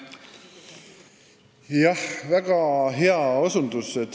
Jah, väga hea osutus.